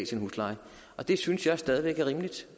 sin husleje det synes jeg stadig væk er rimeligt